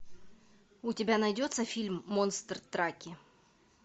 у тебя найдется фильм монстр траки